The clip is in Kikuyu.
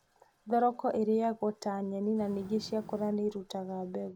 Thoroko ĩrĩyagwo ta nyeni na ningĩ ciakũra nĩirutaga mbegũ.